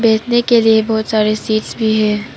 बैठने के लिए बहोत सारे सीट्स भी हैं।